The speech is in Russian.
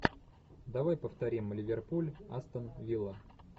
давай повторим ливерпуль астон вилла